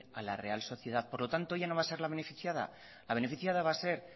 a la real sociedad por lo tanto ella no va a ser la beneficiada la beneficiada va a ser